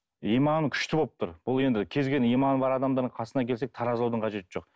иманы күшті болып тұр бұл енді кез келген иманы бар адамдардың қасына келсек таразылаудың қажеті жоқ